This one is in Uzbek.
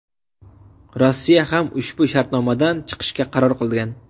Rossiya ham ushbu shartnomadan chiqishga qaror qilgan.